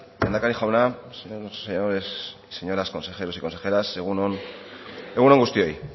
lehendakari jauna señores y señoras consejeros y consejeras egun on guztioi